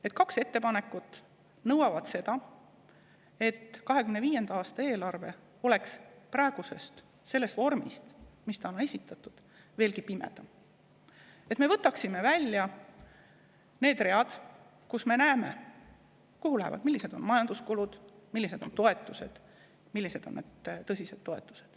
Need kaks ettepanekut nõuavad seda, et 2025. aasta eelarve oleks praegusest vormist, mis esitatud eelnõul on, veelgi pimedam, et me võtaksime välja need read, kust me näeme, kuhu miski läheb, millised on majanduskulud, millised on toetused, tõsised toetused.